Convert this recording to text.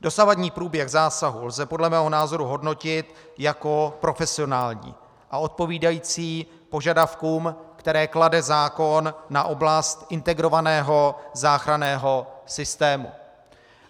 Dosavadní průběh zásahu lze podle mého názoru hodnotit jako profesionální a odpovídající požadavkům, které klade zákon na oblast integrovaného záchranného systému.